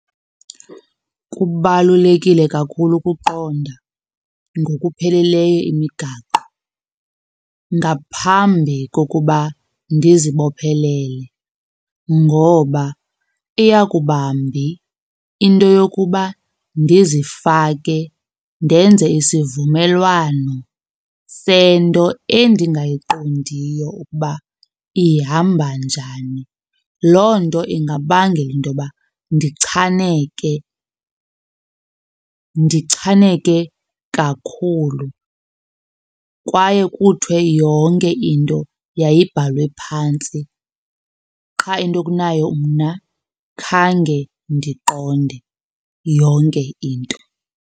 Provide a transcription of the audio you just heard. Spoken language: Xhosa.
Kubalulekile kakhulu ukuqonda ngokupheleleyo imigaqo ngaphambi kokuba ndizibophelele ngoba iya kuba mbi into yokuba ndizifake ndenze isivumelwano sento endingayiqondiyo ukuba ihamba njani. Loo nto ingabangela intoba ndichaneke, ndichaneke kakhulu kwaye kuthwe yonke into yayibhalwe phantsi qha into kunayo mna khange ndiqonde yonke into.